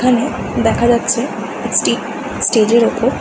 এখানে দেখা যাচ্ছে স্টে স্টেজ ওপর --